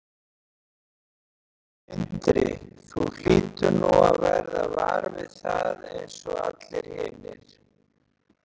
Sindri: Þú hlýtur nú að verða var við það eins og allir hinir?